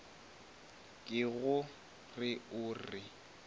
ke go re o re